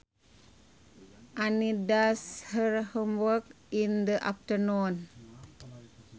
Annie does her homework in the afternoon